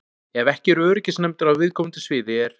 Ef ekki eru öryggisnefndir á viðkomandi sviði er